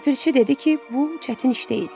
Ləpirçi dedi ki, bu çətin iş deyil.